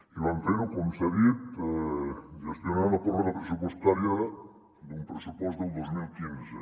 i van fer ho com s’ha dit gestionant la pròrroga pressupostària d’un pressupost del dos mil quinze